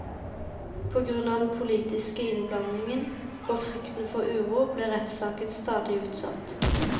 På grunn av den politiske innblandingen og frykten for uro, ble rettssaken stadig utsatt.